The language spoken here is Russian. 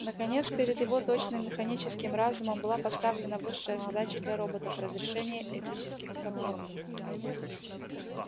наконец перед его точным механическим разумом была поставлена высшая задача для роботов разрешение этических проблем